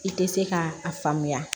I tɛ se ka a faamuya